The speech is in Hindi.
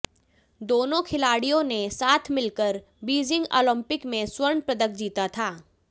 दोनों खिलाडिय़ों ने साथ मिलकर बी जिंग ओलंपिक में स्वर्ण पदक जीता था